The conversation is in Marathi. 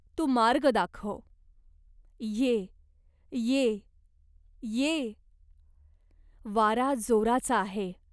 तू मार्ग दाखव. ये ये ये." "वारा जोराचा आहे.